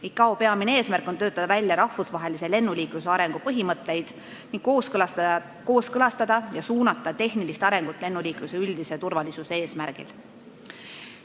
ICAO peamine eesmärk on töötada välja rahvusvahelise lennuliikluse arengu põhimõtteid ning kooskõlastada ja suunata tehnilist arengut lennuliikluse üldise turvalisuse tagamiseks.